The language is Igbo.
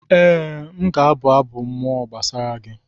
Ee, m ga-abụ abụ mmụọ gbasara gị